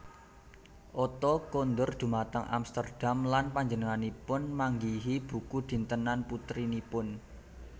Otto kundur dhumateng Amsterdam lan panjenenganipun manggihi buku dintenan putrinipun